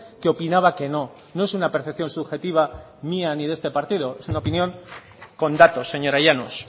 que opinaba que no no es una percepción subjetiva mía ni de este partido es una opinión con datos señora llanos